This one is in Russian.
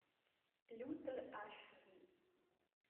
лютер аш ди